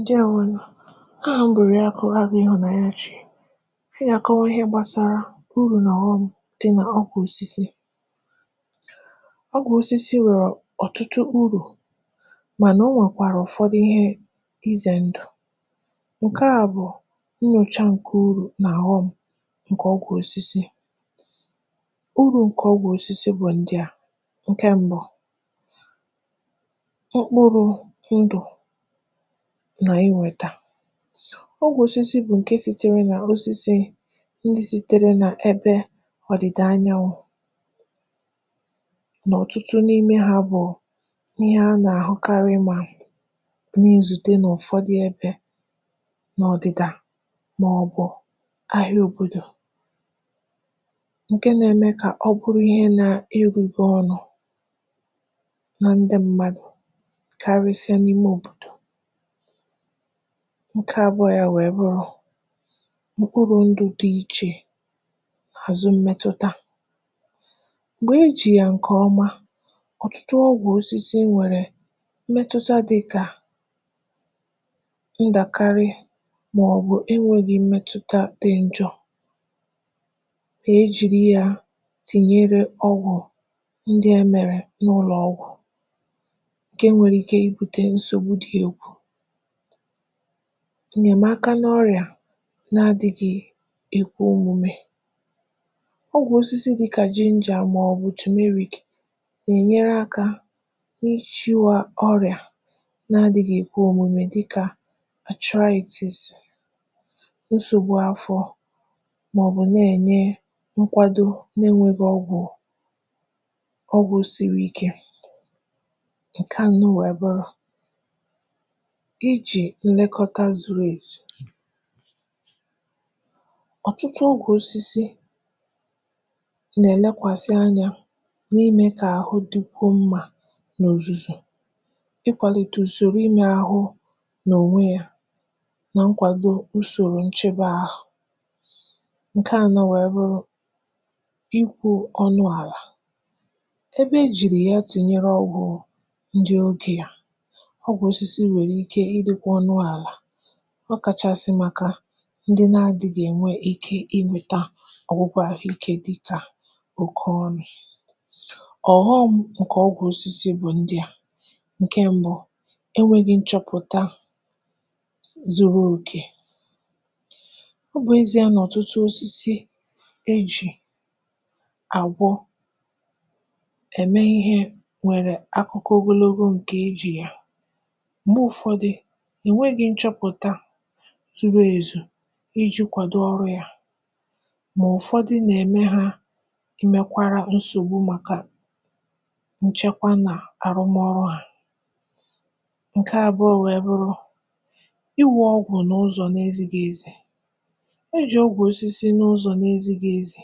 ǹdèwo nụ̀. ahà m bụ̀ Òrịàkụ̀ Agụ̄ Ịhụ̀nanyachi. ọgwụ̀ osisi nwẹ̀rẹ̀ ọ̀tụtụ urù, mà nà ọ nwẹ̀kwàrà ụ̀fọdụ ịhẹ ịzẹ̀ ndụ̀. ǹkẹ à bụ̀ nyòcha ǹkè urù nà ọ̀ghọm̄, ǹkẹ̀ ọgwụ̀ osisi. urù ǹkẹ̀ ọgwụ̀ osisi bụ̀ ndịà. ǹkẹ mbụ, ọkpụrụ̄ ndụ̀, nà iwètà. ọgwụ̀ osisi bụ̀ ǹkẹ sitere nà osisi, ndị sitere nà ẹbẹ ọ̀dị̀dà anyanwụ̄, nà ọ̀tụtụ n’ịmẹ ya bụ̀ ihe a nà àhụkarị nà izùte nà ụ̀fọdị ẹbẹ̄, n’ọ̀dị̀dà, mà ọ̀ bụ̀ anyanwụ̄, ǹke na eme kà ọ bụrụ ihe nae rube ọrụ̄, nan dị mmadù, karịsịa n’ime òbòdò. ǹkẹ abụọ ya wẹ̀ẹ bụrụ, mkpụrụ̄ ndụ̄ dị ichè àzụ mmẹtụta. m̀gbè e jì yà ǹkẹ̀ ọma, ọ̀tụtụ ọgwụ̀ osisi nwẹ̀rẹ̀ mmẹtụta dịkà ndàkarị mà ọ̀ bụ̀ ịnwẹ̄ ogè mmẹtụta dị njọ̄, e jìri ya tinyere ọgwụ̀ ndị ẹ mẹ̀rẹ̀ n’ụlọ̀ ọgwụ̀, ǹke nwere ike I bute nsògbu dị egwụ. ǹnyẹ̀maka n’ọrị̀à na adịghị èkwe omume. ọgwụ̀ osisi dịkà ginger, mà ọ̀ bụ̀ turmeric nà ènyere akā ị chịwa ọrịà na adịghị èkwe òmume, dịkà arthritis, nsògbu afọ̄, mà ọ̀ bụ̀ nà ènye nkwado, na enwēghị ọgwụ̀, ọgwụ̄ siri ike. ǹkẹ à nụ wẹ̀ẹ bụrụ, ijī nnẹkọta zuru èzù. ọ̀tụtụ ukwù osisi nà ẹ̀lẹkwàsị anyā na imẹ̄ kà àhụ dịkwuo mmā nà òzùzò, ikwàlitè ùsòro ịmẹ ahụ, nà ònwe ya, na nkwàdo usòro nchebe ahụ. ǹkẹ anọ wẹ̀ẹ bụrụ, I kwū ọnụ àlà. ẹbẹ e jìrì ya tùnyere ọgwụ̄ ndị ogē à, ọ bụ̀ osisi e nwèrè ike ị dịkwa ọnụ àlà. ọ kàchàsị̀ màkà ndị na adịghị̄ ènwe ike inwēta ọgwụgwụ ahụ ikē, dịkà oke ọrị̀à. ọ̀ghọm̄ ǹkè ọgwụ̀ osisi bụ ndị à. ǹkẹ mbụ, e nweghi nchọpụ̀ta zuru òkè. ọ bụ̀ezīa nà ọ̀tụtụ osisi e jì àgwọ, ẹ̀ mẹ ihe nwere akụkọ ogologo ǹkẹ̀ e jì ya. m̀gbẹ ụfọdụ, è nweghi nchọpụ̀ta zuru èzu I jī kwàdo ọrụ̄ ya. mà ụ̀fọdụ nà ẹ̀mẹ ha ẹmẹkwara nsògbu màkà nchẹkwa nà àrụmọrụ à. ǹkẹ abụọ̄ wẹ̀ẹ bụrụ, iwū ọgwụ̀ n’ụzọ̀ na ezighi ezi. e jì ọgwụ osisi n’ụzọ̀ na ezighi ezi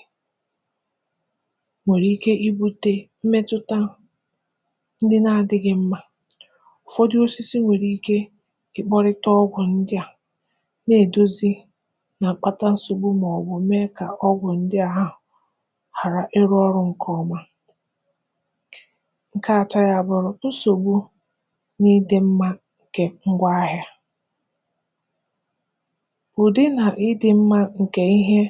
nwèrè ike I bute mmetụta ndị na adịghị mmā. ụ̀fọdị osisi nwẹ̀rẹ̀ ike I kpọ̄rịta ọgwụ̄ ndịà, nà èdozi, mà kpata nsògbu mà ọ̀ bụ̀ mẹ kà ọgwụ̀ ndị ahụ̀ ghàra ịrụ̄ ọrụ̄ ǹkẹ̀ ọma. ǹkẹ atọ ya a bụrụ, nsògbu na idị̄mmā ǹkẹ̀ ngwọ ahịā. ùdị nà ịdị̄ mma ǹkẹ̀ ịhẹ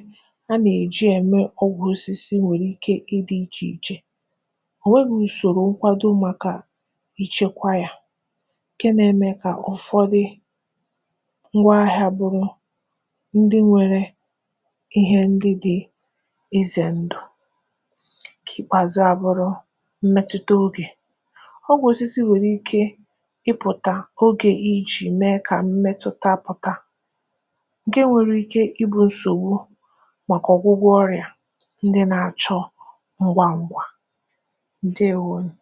a nà è ji ẹ̀mẹ ọgwụ̀ osisi nwẹ̀rẹ̀ ike ị dị̃̄ ichè ichè. ò nweghi nsògbu nkwado màkà nchẹkwa yā, ǹkẹ nae ̣mẹ kà ụ̀fọdị ngwọ ahịā bụrụ ndị nwẹrẹ ịhẹ ndị dị̄ ịzẹ̀ ndụ̀.kpèàzụ a bụrụ, mṃɛtụta ǹkẹ̀ ogè. ọ bụ osisi nwẹrẹ ike ị pụ̀ta ogē I jì̄ mẹ kà mmẹtụta pụ̀ta, ǹkẹ nwẹrẹ ikē I bu nsògbu màkà ndị na achọ ọ̀gwụgwọ ọrị̀à ndị na achọ ngwa ngwa. ǹdèwo nù.